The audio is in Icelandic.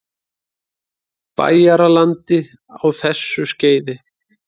Bæjaralandi á þessu skeiði.